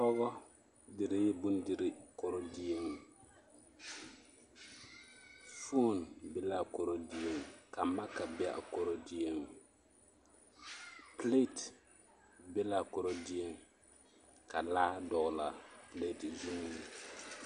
Pɔgɔ diree bondirii korodieŋ foon be l'a korodieŋ ka maka be a korodieŋ pileti be l'a korodieŋ ka laa dɔgelaa pileti zuŋ.